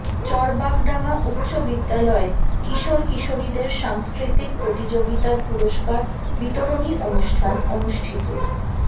চরবাগডাঙ্গা উচ্চ বিদ্যালয়ে কিশোর কিশোরীদের সাংস্কৃতিক প্রতিযোগিতার পুরস্কার বিতরণী অনুষ্ঠান অনুষ্ঠিত